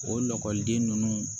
O lakɔliden ninnu